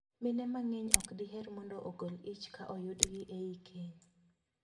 Mine mang'eny ok diher mondo ogol ich ka oyudgi ei keny.